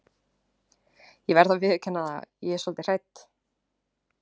Ég verð að viðurkenna það að ég er svolítið hrædd.